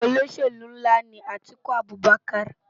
Ólóṣélú nlá ni Atiku Abubaker